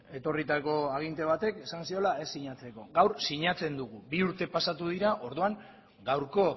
etorritako aginte batek esan ziola ez sinatzeko gaur sinatzen dugu bi urte pasatu dira orduan gaurko